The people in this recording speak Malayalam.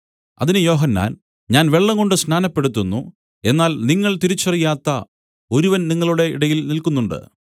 അതിന് യോഹന്നാൻ ഞാൻ വെള്ളംകൊണ്ട് സ്നാനപ്പെടുത്തുന്നു എന്നാൽ നിങ്ങൾ തിരിച്ചറിയാത്ത ഒരുവൻ നിങ്ങളുടെ ഇടയിൽ നില്ക്കുന്നുണ്ട്